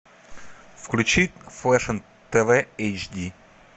включи фэшн тв эйч ди